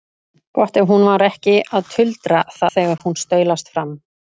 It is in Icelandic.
Gott ef hún var ekki að tuldra það þegar hún staulast fram.